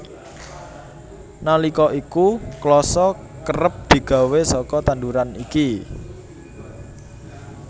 Nalika iku klasa kerep digawé saka tanduran iki